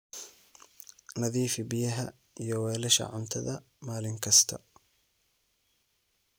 Nadiifi biyaha iyo weelasha cuntada maalin kasta.